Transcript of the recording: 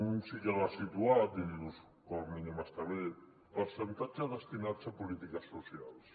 un sí que l’ha situat i dius com a mínim està bé percentatge destinat a polítiques socials